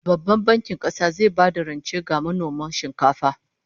Babban Bankin Kasa zai bayar da rance ga manoman shinkafa